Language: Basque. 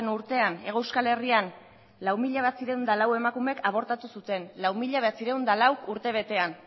urtean hego euskal herrian lau mila bederatziehun eta lau emakumeek abortatu zuten lau mila bederatziehun eta lau urtebetean